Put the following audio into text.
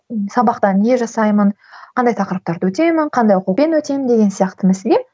сабақта не жасаймын қандай тақырыптарды өтемін қандай оқулықпен өтемін деген сияқты мәселе